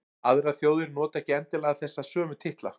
aðrar þjóðir nota ekki endilega þessa sömu titla